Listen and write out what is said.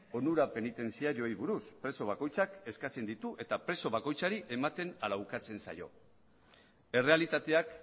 onura penitentziarioei buruz preso bakoitzak eskatzen ditu eta preso bakoitzari ematen ala ukatzen zaio errealitateak